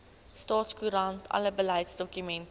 staatskoerant alle beleidsdokumente